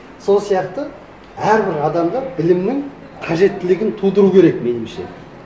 сол сияқты әрбір адамда білімнің қажеттілігін тудыру керек меніңше